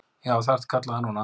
Já, það ertu kallaður núna.